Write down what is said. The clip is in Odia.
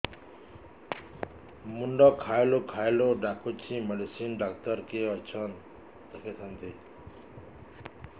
ମୁଣ୍ଡ ଖାଉଲ୍ ଖାଉଲ୍ ଡାକୁଚି ମେଡିସିନ ଡାକ୍ତର କିଏ ଅଛନ୍ ଦେଖେଇ ଥାନ୍ତି